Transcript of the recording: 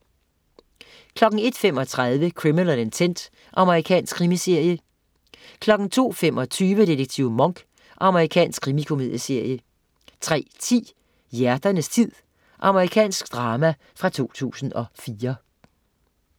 01.35 Criminal Intent. Amerikansk krimiserie 02.25 Detektiv Monk. Amerikansk krimikomedieserie 03.10 Hjerternes tid. Amerikansk drama fra 2004